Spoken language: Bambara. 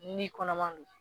N'i kɔnɔma don